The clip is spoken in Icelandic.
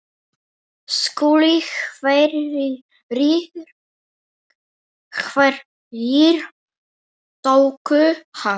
SKÚLI: Hverjir tóku hann?